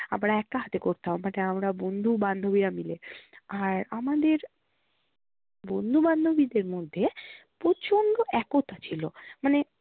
আমরা একা হাতে করতাম আমরা বন্ধু বান্ধবীরা মিলে। আর আমাদের বন্ধু বান্ধবীদের মধ্যে প্রচন্ড একতা ছিল মানে